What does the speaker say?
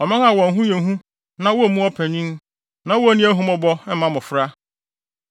ɔman a wɔn ho yɛ hu na wommu ɔpanyin, na wonni ahummɔbɔ mma mmofra.